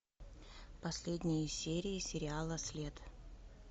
последние серии сериала след